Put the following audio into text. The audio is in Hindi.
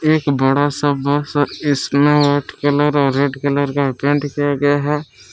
एक बड़ा सा बस और इसमें व्हाइट कलर और रेड कलर का पेंट किया गया है।